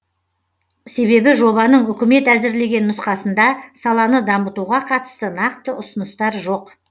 себебі жобаның үкімет әзірлеген нұсқасында саланы дамытуға қатысты нақты ұсыныстар жоқ